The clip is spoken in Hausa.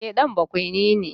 E, ɗan bakwaini ne.